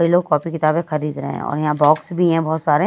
ये लोग कॉपी किताबें खरीद रहे हैं और यहां बॉक्स भी हैं बहुत सारे--